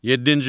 Yeddinci.